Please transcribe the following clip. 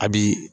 A bi